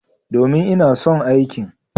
Domin, ina son aikin.